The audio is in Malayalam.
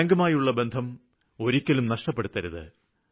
ബാങ്കുമായുള്ള ബന്ധം ഒരിക്കലും നഷ്ടപ്പെടുത്തരുത്